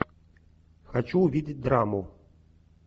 хочу увидеть драму